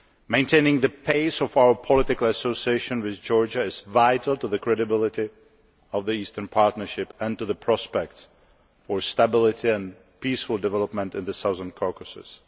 Maintaining the pace of our political association with Georgia is vital to the credibility of the Eastern Partnership and to the prospects for stability and peaceful development in the Southern Caucasus.